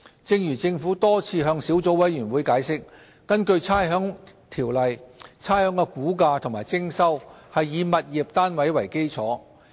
正如政府多次向小組委員會解釋，根據《差餉條例》，差餉的估價及徵收是以物業單位為基礎。